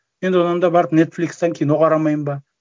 мен одан да барып нетфликстан кино қарамаймын ба